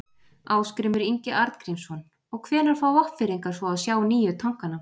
Ásgrímur Ingi Arngrímsson: Og hvenær fá Vopnfirðingar svo að sjá nýju tankana?